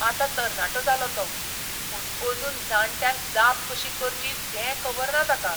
आतां तरणाटो जालो तो, पूण अजून जाण्ट्यांक जाप कशी करची तें खबर ना ताका.